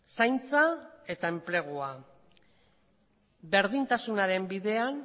zaintza eta enplegua berdintasunaren bidean